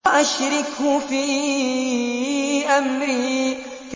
وَأَشْرِكْهُ فِي أَمْرِي